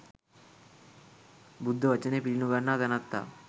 බුද්ධ වචනය පිළි නොගන්නා තැනැත්තා